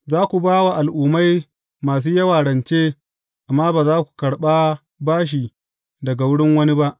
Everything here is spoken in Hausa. Za ku ba wa al’ummai masu yawa rance, amma ba za ku karɓa bashi daga wurin wani ba.